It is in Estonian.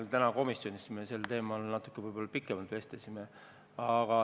Me täna komisjonis sel teema natuke pikemalt vestlesime.